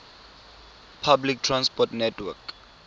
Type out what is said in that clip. public transport network